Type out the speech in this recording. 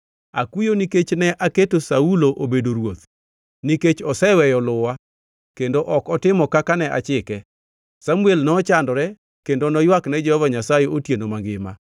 “Akuyo nikech ne aketo Saulo obedo ruoth, nikech oseweyo luwa, kendo ok otimo kaka ne achike.” Samuel nochandore kendo noywak ne Jehova Nyasaye otieno mangima.